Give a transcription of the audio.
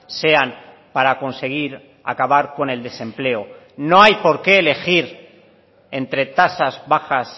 sean para conseguir acabar con el desempleo no hay porqué elegir entre tasas bajas